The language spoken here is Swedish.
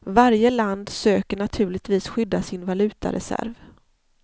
Varje land söker naturligtvis skydda sin valutareserv.